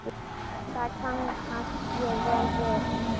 Það kannast ég vel við.